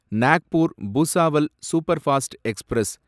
Nagpur Bhusawal superfast express